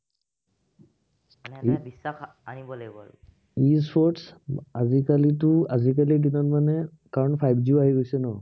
E sports আজি কালিটো আজিকালি দিনত মানে কাৰন five G আহি গৈছে ন